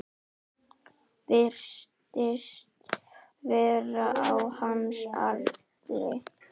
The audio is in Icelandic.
Virtist vera á hans aldri.